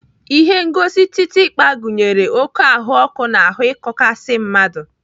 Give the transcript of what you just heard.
Ihengosi kịtịkpa gụnyere oké ahụọkụ na ahụ ịkọkasi mmadụ.